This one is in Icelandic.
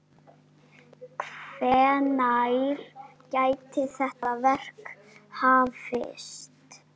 Hvenær gæti þetta verk hafist?